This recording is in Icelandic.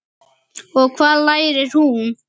Og hvað lærir hún?